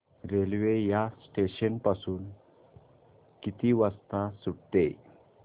railway या station पासून किती वाजता सुटते